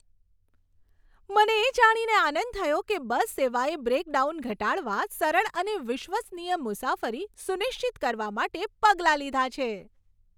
મને એ જાણીને આનંદ થયો કે બસ સેવાએ બ્રેકડાઉન ઘટાડવા, સરળ અને વિશ્વસનીય મુસાફરી સુનિશ્ચિત કરવા માટે પગલાં લીધાં છે.